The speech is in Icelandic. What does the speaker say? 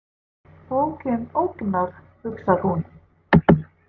Bókin ógnar, hugsar hún.